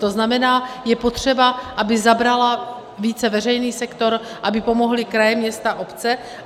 To znamená, je potřeba, aby zabral více veřejný sektor, aby pomohly kraje, města, obce.